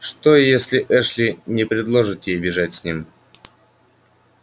что если эшли не предложит ей бежать с ним